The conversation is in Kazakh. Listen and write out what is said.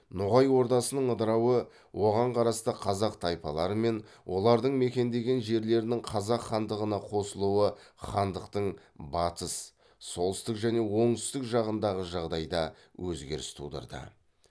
ноғай ордасының ыдырауы оған қарасты қазақ тайпалары мен олардың мекендеген жерлерінің қазақ хандығына қосылуы хандықтың батыс солтүстік және оңтүстік жағындағы жағдайда өзгеріс тудырды